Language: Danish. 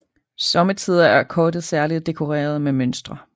Somme tider er kortet særligt dekoreret med mønstre